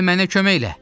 Gəl mənə kömək elə!